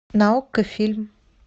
на окко фильм